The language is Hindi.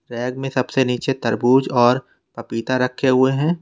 रैक में सबसे नीचे तरबूज और पपीता रखे हुए हैं।